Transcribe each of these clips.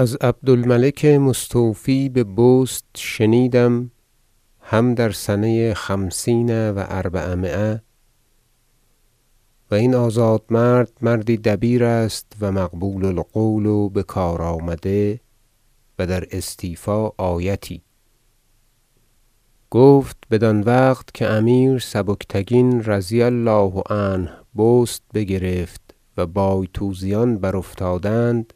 حکایت امیر عادل سبکتگین با آهوی ماده و بچه او و ترحم کردن بر ایشان و خواب دیدن از عبد الملک مستوفی به بست شنیدم هم در سنه خمسین و اربعمایه- و این آزاد- مرد مردی دبیر است و مقبول القول و بکار آمده و در استیفا آیتی - گفت بدان وقت که امیر سبکتگین رضی الله عنه بست بگرفت و بایتوزیان برافتادند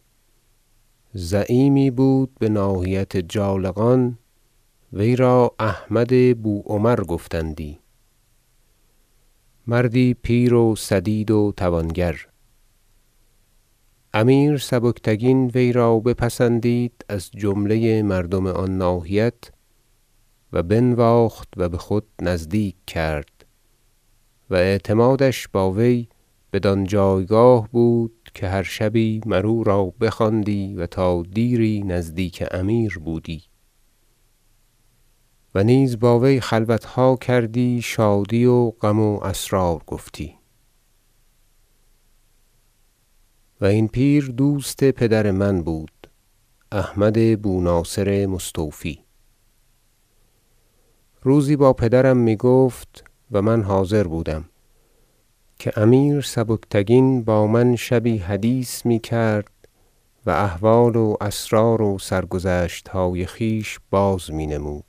زعیمی بود به ناحیت جالقان وی را احمد بوعمر گفتندی مردی پیر و سدید و توانگر امیر سبکتگین وی را بپسندید از جمله مردم آن ناحیت و بنواخت و به خود نزدیک کرد و اعتمادش با وی بدان جایگاه بود که هر شبی مر او را بخواندی و تا دیری نزدیک امیر بودی و نیز با وی خلوت ها کردی شادی و غم و اسرار گفتی و این پیر دوست پدر من بود احمد بو ناصر مستوفی روزی با پدرم می گفت- و من حاضر بودم- که امیر سبکتگین با من شبی حدیث می کرد و احوال و اسرار و سرگذشت های خویش باز می نمود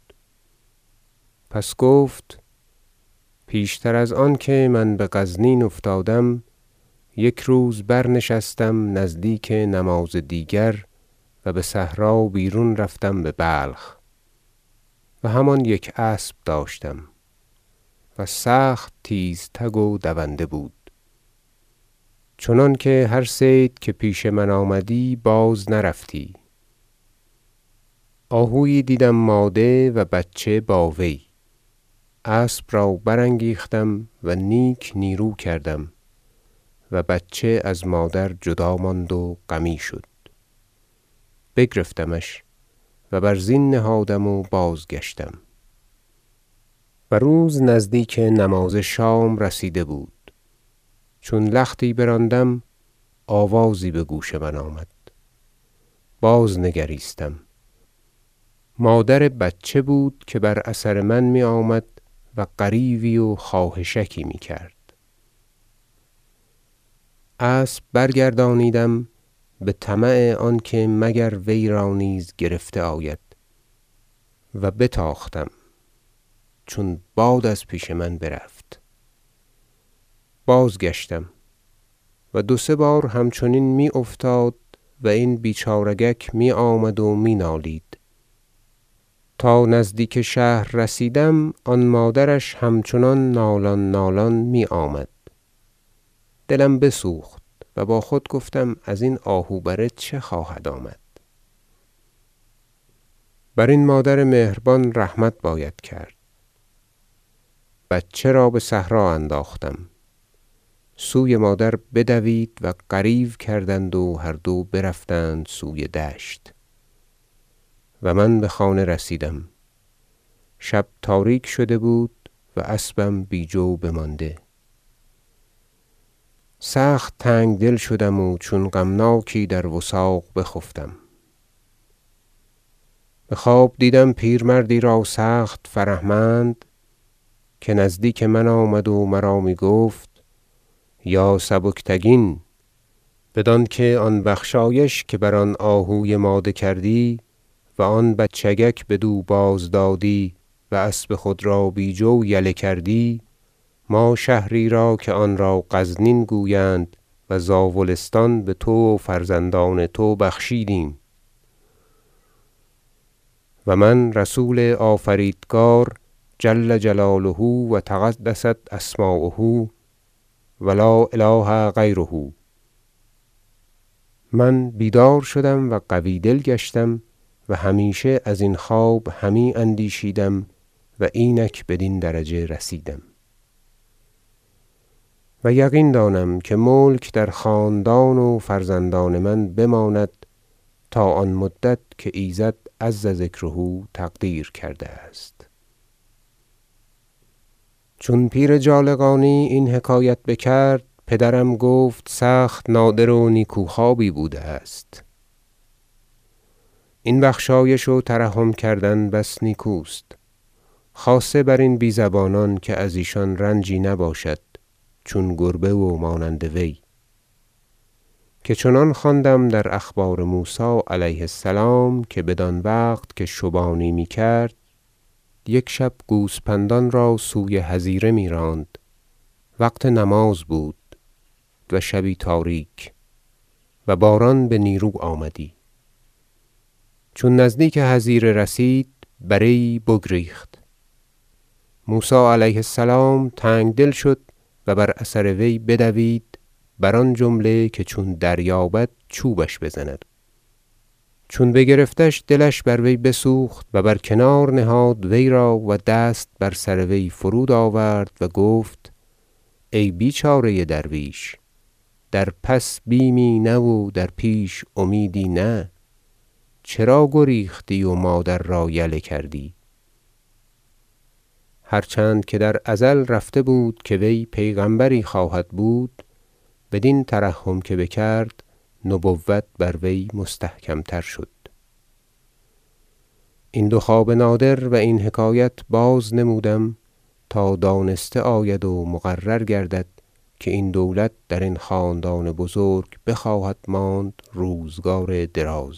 پس گفت پیشتر از آنکه من به غزنین افتادم یک روز برنشستم نزدیک نماز دیگر و به صحرا بیرون رفتم به بلخ و همان یک اسب داشتم و سخت تیزتگ و دونده بود چنانکه هر صید که پیش آمدی بازنرفتی آهویی دیدم ماده و بچه با وی اسب را برانگیختم و نیک نیرو کردم و بچه از مادر جدا ماند و غمی شد بگرفتمش و بر زین نهادم و بازگشتم و روز نزدیک نماز شام رسیده بود چون لختی براندم آوازی به گوش من آمد باز نگریستم مادر بچه بود که بر اثر من می آمد و غریوی و خواهشکی می کرد اسب برگردانیدم به طمع آنکه مگر وی را نیز گرفته آید و بتاختم چون باد از پیش من برفت بازگشتم و دو سه بار همچنین می افتاد و این بیچارگک می آمد و می نالید تا نزدیک شهر رسیدم آن مادرش همچنان نالان نالان می آمد دلم بسوخت و با خود گفتم ازین آهو بره چه خواهد آمد برین مادر مهربان رحمت باید کرد بچه را به صحرا انداختم سوی مادر بدوید و غریو کردند و هر دو برفتند سوی دشت و من به خانه رسیدم شب تاریک شده بود و اسبم بی جو بمانده سخت تنگ دل شدم و چون غمناک در وثاق بخفتم به خواب دیدم پیرمردی را سخت فره مند که نزدیک من آمد و مرا می گفت یا سبکتگین بدانکه آن بخشایش که بر آن آهوی ماده کردی و آن بچگک بدو بازدادی و اسب خود را بی جو یله کردی ما شهری را که آن را غزنین گویند و زاولستان به تو و فرزندان تو بخشیدیم و من رسول آفریدگارم جل جلاله و تقدست اسماؤه و لا اله غیره من بیدار شدم و قوی دل گشتم و همیشه ازین خواب همی اندیشیدم و اینک بدین درجه رسیدم و یقین دانم که ملک در خاندان و فرزندان من بماند تا آن مدت که ایزد عزذکره تقدیر کرده است حکایت موسی پیغمبر علیه السلام با بره گوسپند و ترحم کردن وی بر وی چون پیر جالقانی این حکایت بکرد پدرم گفت سخت نادر و نیکو خوابی بوده است این بخشایش و ترحم کردن بس نیکوست خاصه بر این بی زبانان که از ایشان رنجی نباشد چون گربه و مانند وی که چنان خواندم در اخبار موسی علیه السلام که بدان وقت که شبانی می کرد یک شب گوسپندان را سوی حظیره می راند وقت نماز بود و شبی تاریک و باران به نیرو آمدی چون نزدیک حظیره رسید بره یی بگریخت موسی علیه السلام تنگ دل شد و بر اثر وی بدوید بر آن جمله که چون دریابد چوبش بزند چون بگرفتش دلش بر وی بسوخت و بر کنار نهاد وی را و دست بر سر وی فرود آورد و گفت ای بیچاره درویش در پس بیمی نه و در پیش امیدی نه چرا گریختی و مادر را یله کردی هرچند که در ازل رفته بود که وی پیغمبری خواهد بود بدین ترحم که بکرد نبوت بر وی مستحکم تر شد این دو خواب نادر و این حکایت بازنمودم تا دانسته آید و مقرر گردد که این دولت در این خاندان بزرگ بخواهد ماند روزگار دراز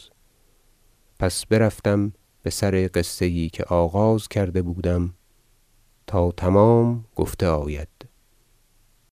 پس برفتم بسر قصه یی که آغاز کرده بودم تا تمام گفته آید